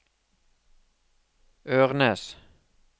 Ørnes